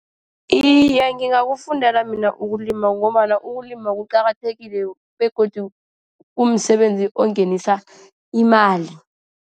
Iye, ngingakakufundela mina ukulima ngombana ukulima kuqakathekile. Begodu kumsebenzi ongenisa imali.